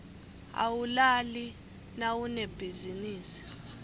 awulali nawunebhizinisi